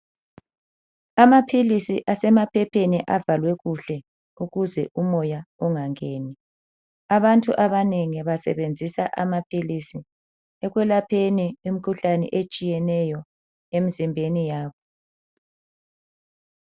Amaphilisi asemaphepheni avalwe kuhle ukuze umoya ungangeni abantu abanengi basebenzisa amaphiisi ekwelapheni imikhuhlane etshiyeneyo emzimbeni yabo.